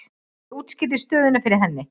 Ég útskýrði stöðuna fyrir henni.